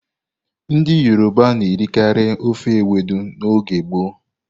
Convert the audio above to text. Ndị Yoroba na-erikarị ofe Ewedú n'oge gboo.